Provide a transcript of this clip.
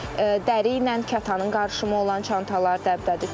Dəri ilə kətanın qarışımı olan çantalar dəbdədir.